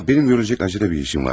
Aa mənim görüləcək əcələ bir işim var.